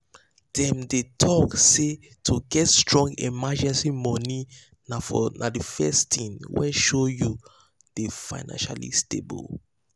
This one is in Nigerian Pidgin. dem dey talk say to get strong emergency money na the first thing wey show you dey financially stable.